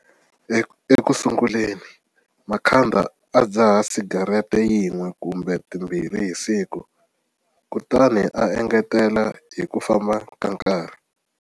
Ekusunguleni Makhanda a dzaha sigarete yin'we kumbe timbirhi hi siku, kutani a engetela hi ku famba ka nkarhi.